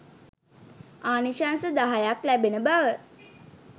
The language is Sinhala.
ආනිශංස දහයක් ලැබෙන බව